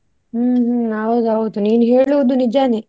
ಹ್ಮ್ ಹ್ಮ್. ಹೌದೌದು ನೀನು ಹೇಳುವುದು ನಿಜನೇ.